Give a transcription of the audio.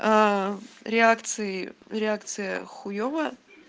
аа реакции реакция хуевая